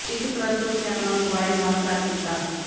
ਇਸ ਉਪਰੰਤ ਉਸ ਨੇ ਆਪਣਾ ਮੋਬਾਈਲ ਬੰਦ ਕਰ ਦਿੱਤਾ